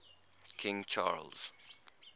king charles